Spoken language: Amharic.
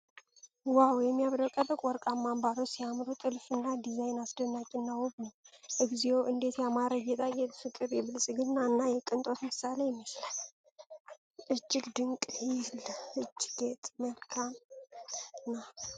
ዋው! የሚያብረቀርቅ ወርቃማ አምባሮች ሲያምሩ! ጥልፍልፉ ዲዛይን አስደናቂ እና ውብ ነው። እግዚኦ! እንዴት ያማረ ጌጣጌጥ! ፍቅር! የብልፅግና እና የቅንጦት ምሳሌ ይመስላል። እጅግ ድንቅ! ይህ ለእጅ ጌጥ መልካም ነው።